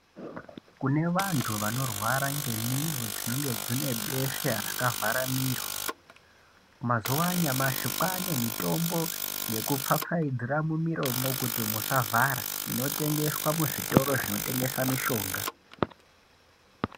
Kune vantu vanorwara nge miro dzinonge dzine besha raka vhara miro mazuva anyamashi kwane mitombo yeku pfapfaidzira mu miromo kuti isa vhara ino tengeswa mu zvitoro zvino tengesa mishonga.